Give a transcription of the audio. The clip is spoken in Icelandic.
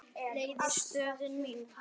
leiða stöðu mína.